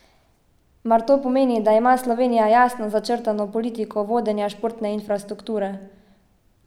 Mar to pomeni, da ima Slovenija jasno začrtano politiko vodenja športne infrastrukture?